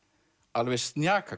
alveg